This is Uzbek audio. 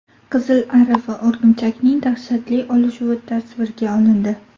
Qizil ari va o‘rgimchakning dahshatli olishuvi tasvirga olindi .